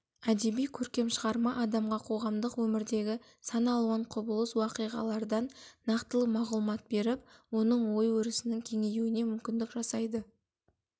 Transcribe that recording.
әдеби көркем шығарма адамға коғамдық өмірдегі сан-алуан құбылыс уақиғалардан нақтылы мағлұмат беріп оның ой-өрісінің кеңеюіне мүмкіндік жасайды